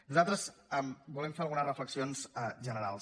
nosaltres volem fer algunes reflexions generals